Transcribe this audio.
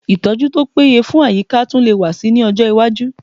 Ìtọ́jú tí ó péye fún àyíká tún lè wà síi ní ọjọ́ iwájú